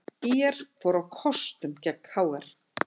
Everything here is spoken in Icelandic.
ÍR fór á kostum gegn KR